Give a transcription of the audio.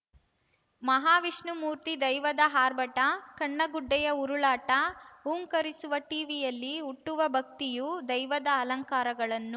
ಮಹಾವಿಷ್ಣುಮೂರ್ತಿ ದೈವದ ಆರ್ಭಟ ಕಣ್ಣಗುಡ್ದೆಯ ಉರುಳಾಟ ಹೂಂಕರಿಸುವ ಠೀವಿಯಲ್ಲಿ ಹುಟ್ಟುವ ಭಕ್ತಿಯು ದೈವದ ಅಲಂಕಾರಗಳನ್ನು